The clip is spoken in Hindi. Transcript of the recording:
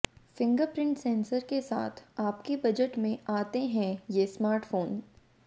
फिंगरप्रिंट सेंसर के साथ आपके बजट में आते हैं ये स्मार्टफोंस